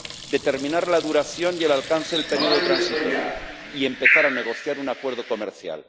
determinar la duración y el alcance del periodo transitorio y empezar a negociar un acuerdo comercial.